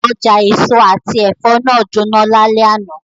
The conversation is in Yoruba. Oja eso ati ẹfọ naa jona lalẹ ana